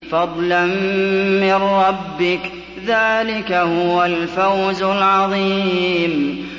فَضْلًا مِّن رَّبِّكَ ۚ ذَٰلِكَ هُوَ الْفَوْزُ الْعَظِيمُ